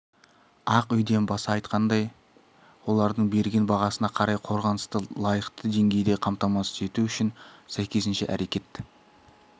ай үйден баса айтқандай олардың берген бағасына қарай қорғанысты дайықты деңгейде қамтамасыз ету үшін сәйкесінше әрекет